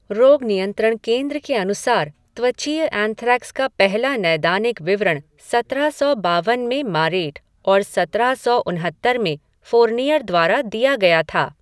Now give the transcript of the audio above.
रोग नियंत्रण केंद्र के अनुसार त्वचीय एंथ्रेक्स का पहला नैदानिक विवरण सत्रह सौ बावन में मारेट और सत्रह सौ उनहत्तर में फ़ोरनियर द्वारा दिया गया था।